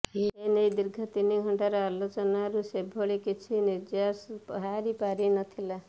ଏ ନେଇ ଦୀର୍ଘ ତିନି ଘଣ୍ଟାର ଆଲୋଚନାରୁ ସେଭଳି କିଛି ନିର୍ଯାସ ବାହାରି ପାରିନଥିଲା